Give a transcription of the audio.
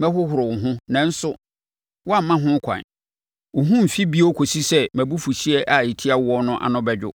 mɛhohoro wo ho, nanso woamma ho ɛkwan, wo ho remfi bio kɔsi sɛ mʼabufuhyeɛ a ɛtia woɔ no ano bɛdwo.